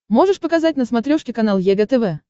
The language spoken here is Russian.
можешь показать на смотрешке канал егэ тв